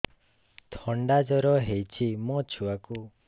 ଥଣ୍ଡା ଜର ହେଇଚି ମୋ ଛୁଆକୁ